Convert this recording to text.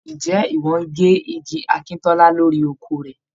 Ǹjẹ́ ìwọ ń gé igi akíntọ́lá lórí oko rẹ.?